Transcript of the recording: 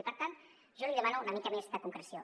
i per tant jo li demano una mica més de concreció